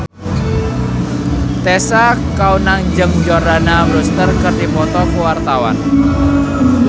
Tessa Kaunang jeung Jordana Brewster keur dipoto ku wartawan